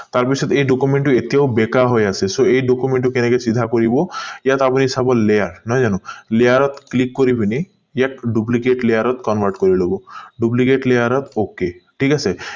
তাৰ পিছত এই document টো এতিয়াও বেকাৰ হৈ আছে so এই document টো এনেকে চিধা কৰিব ইয়াত আপুনি layer নহয় জানো layer ত click কৰি পিনি ইয়াক duplicate layer ত convert কৰি ললো duplicate layer ত ok ঠিক আছে